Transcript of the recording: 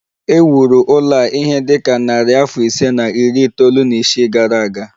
E wuru ụlọ a ihe dị ka narị afọ ise na iri itoolu na isii gara aga